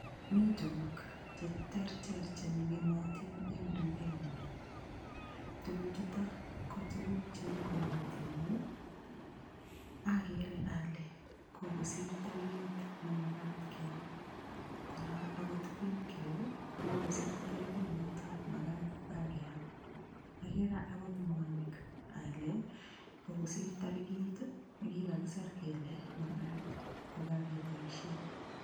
Mi tukuk che terter che ngemotin eng dukenyu, tuku chuto kotukuk cheu makatinik ii, akere ale kokosir tarikit ne makat keam, kora akot queen cake ii ko kokosir tarikit notok makat kora keam, akere agot mwanik ale kokosir tarikit ne kikakisir kele makat kokakeboisie.